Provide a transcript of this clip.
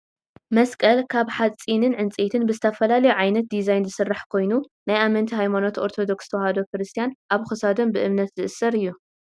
መስቀል ካብ ሓፂንን ዕንፀይቲን ብዝተፈላለዩ ዓይነት ድዛይን ዝስራሕ ኮይኑ ናይ ኣመንቲ ሃይማኖት ኦርቶዶክስ ተዋህዶ ክርስትያን ኣብ ክሳዶም ብእምነት ዝእሰር እዩ።